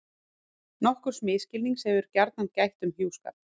Nokkurs misskilnings hefur gjarnan gætt um hjúskap.